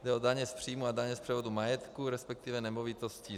Jde o daně z příjmu a daně z převodu majetku, respektive nemovitostí.